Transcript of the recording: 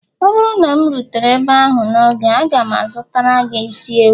ọ bụrụ na m rutere ebe ahụ n'oge, aga m azụtara gị isi ewu